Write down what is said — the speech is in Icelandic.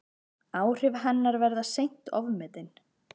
Áhrif hennar verða seint ofmetin.